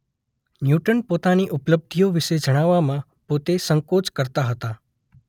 Newton પોતાની ઉપલબ્ધિઓ વિશે જણાવવામાં પોતે સંકોચ કરતા હતા.